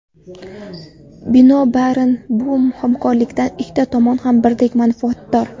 Binobarin, bu hamkorlikdan ikki tomon ham birdek manfaatdor.